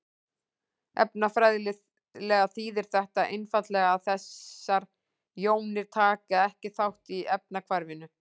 Efnafræðilega þýðir þetta einfaldlega að þessar jónir taka ekki þátt í efnahvarfinu.